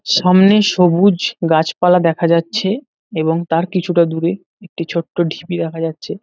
সামনে সবুজ গাছপালা দেখা যাচ্ছে এবং তার কিছুটা দূরে একটি ছোট্ট ঢিবি দেখা যাচ্ছে।